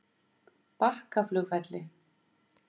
Bakkaflugvelli